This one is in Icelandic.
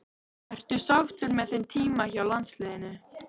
Ertu sáttur með þinn tíma hjá landsliðinu?